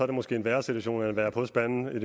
det måske en værre situation end at være på spanden i